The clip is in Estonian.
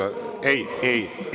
Ei, ei!